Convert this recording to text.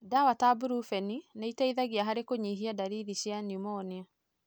Ndawa ta brufeni nĩciteithagia harĩ kũnyihia ndariri cia pneumonia.